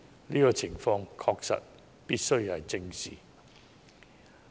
"這個情況確實必須正視。